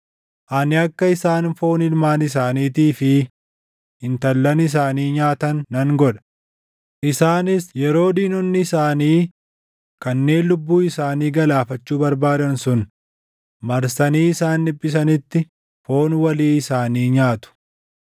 Ani akka isaan foon ilmaan isaaniitii fi intallan isaanii nyaatan nan godha; isaanis yeroo diinonni isaanii kanneen lubbuu isaanii galaafachuu barbaadan sun marsanii isaan dhiphisanitti foon walii isaanii nyaatu.’